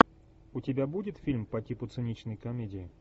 у тебя будет фильм по типу циничной комедии